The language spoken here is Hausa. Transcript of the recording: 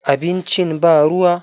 Abincin ba ruwa.